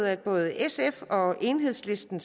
at både sf og enhedslisten